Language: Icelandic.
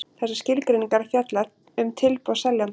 Þessar skilgreiningar fjalla um tilboð seljanda.